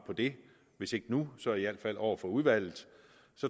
på det hvis ikke nu så i hvert fald over for udvalget